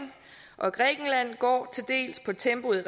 og grækenland går til dels på tempoet i